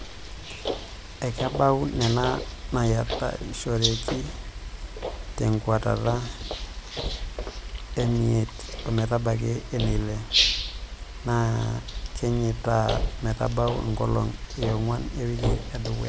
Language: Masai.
Ekebau nena naayiatarishoreki tenkuatata emiet ometabaki eneile naakenyitay metabau enkolong e nguan ewiki tedekenya.